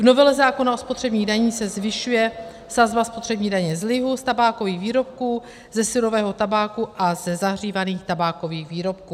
V novele zákona o spotřebních daních se zvyšuje sazba spotřební daně z lihu, z tabákových výrobků, ze surového tabáku a ze zahřívaných tabákových výrobků.